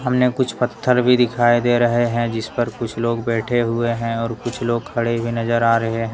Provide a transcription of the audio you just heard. सामने कुछ पत्थर भी दिखाई दे रहे हैं जिस पर कुछ लोग बैठे हुए हैं और कुछ लोग खड़े भी नजर आ रहे हैं।